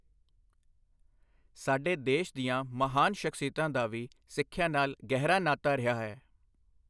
ਸਾਡੇ ਦੇਸ਼ ਦੀਆਂ ਮਹਾਨ ਸ਼ਖ਼ਸੀਅਤਾਂ ਦਾ ਵੀ ਸਿੱਖਿਆ ਨਾਲ ਗਹਿਰਾ ਨਾਤਾ ਰਿਹਾ ਹੈ।